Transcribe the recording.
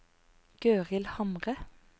Gøril Hamre